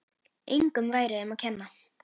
Engum væri um að kenna.